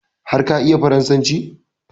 Har ka iya farasanci?